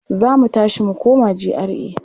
Za mu tashi mu koma GRA.